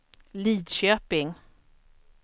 Lidköping